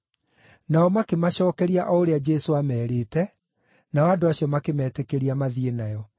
Nao makĩmacookeria o ũrĩa Jesũ aamerĩte, nao andũ acio makĩmetĩkĩria mathiĩ nayo.